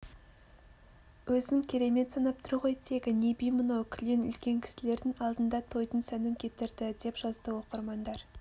өзін керемет санап тұр ғой тегі не би мынау кілең үлкен кісілердің алдында тойдың сәнін кетірді деп жазды оқырмандар